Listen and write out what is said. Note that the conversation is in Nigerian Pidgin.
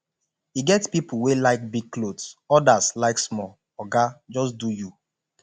e get pipo wey like big clothes odas like small oga just do you